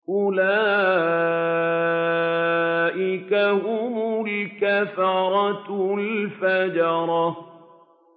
أُولَٰئِكَ هُمُ الْكَفَرَةُ الْفَجَرَةُ